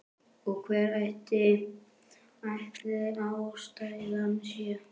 Og hver ætli ástæðan sé?